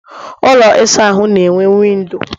ụlọ ịsa ahụ na enwe windo